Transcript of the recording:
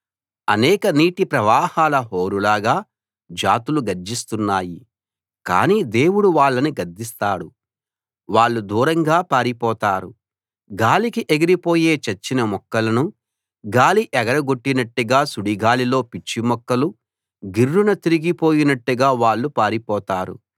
అనేక నీటి ప్రవాహాల హోరులాగా జాతులు గర్జిస్తున్నాయి కానీ దేవుడు వాళ్ళని గద్దిస్తాడు వాళ్ళు దూరంగా పారిపోతారు గాలికి ఎగిరిపోయే చచ్చిన మొక్కలను గాలి ఎగర గొట్టినట్టుగా సుడిగాలిలో పిచ్చి మొక్కలు గిర్రున తిరిగి పోయినట్టుగా వాళ్ళు పారిపోతారు